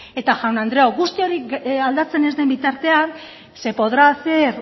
eta jaun andreok guzti hori aldatzen ez den bitartean se podrá hacer